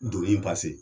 Doni